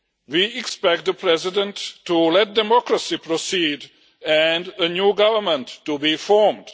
We expect the president to let democracy proceed and a new government to be formed.